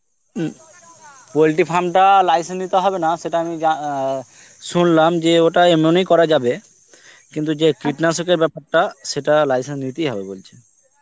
উম poultry farm টা license নিতে হবে না সেটা আমি যা~ আ সুনলাম যে ওটা এমন ই করা যাবে, কিন্তু যে এর বেপারটা সেটা license নিতেই হবে বলছে